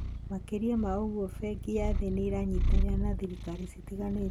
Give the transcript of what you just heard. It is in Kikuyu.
Makĩria ma ũguo, Bengi ya Thĩ nĩ ĩranyitanĩra na thirikari citiganĩte